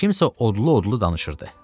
Kimsə odlu-odlu danışırdı.